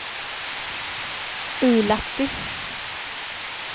Ullatti